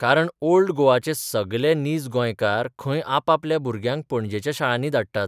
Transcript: कारण ओल्ड गोवाचे सगले नीज गोंयकार 'खंय आपापल्या भुरग्यांक पणजेच्या शाळांनी धाडटात.